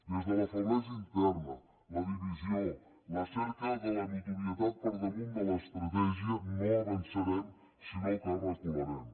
des de la feblesa interna la divisió la cerca de la notorietat per damunt de l’estratègia no avançarem sinó que recularem